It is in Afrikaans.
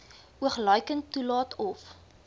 oogluikend toelaat of